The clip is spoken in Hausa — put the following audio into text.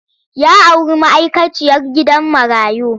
Ya auri ma'aikaciyar gidan marayu.